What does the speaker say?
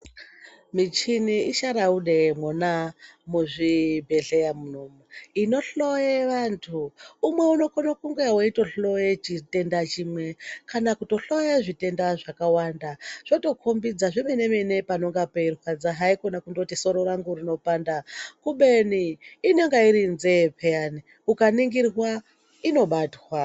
Michini isharaude mwona muzvibhedhleya munomu inohloye vantu. Umwe unokona kunge weitohloya chitenda chimwe kana kutohloye zvitenda zvakawanda zvotokhombidza zvemene-mene panonga peirwadza haikona kundoti soro rangu rinopanda kubeni inonga iri nzee pheyani ikaningirwa inobatwa.